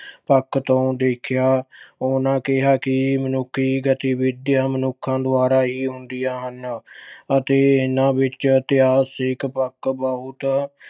ਪੱਖ ਤੋਂ ਦੇਖਿਆ। ਉਹਨਾਂ ਕਿਹਾ ਕਿ ਮਨੁੱਖੀ ਗਤੀਵਿਧੀਆਂ ਮਨੁੱਖਾਂ ਦੁਆਰਾ ਹੀ ਆਉਂਦੀਆਂ ਹਨ ਅਤੇ ਇਨ੍ਹਾਂ ਵਿੱਚ ਇਤਿਹਾਸਿਕ ਪੱਖ ਬਹੁਤ